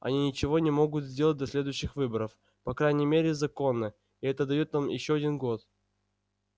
они ничего не могут сделать до следующих выборов по крайней мере законно и это даёт нам ещё один год